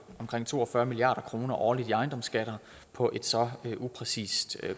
omkring to og fyrre milliard kroner årligt i ejendomsskatter på et så upræcist